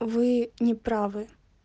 вы не правы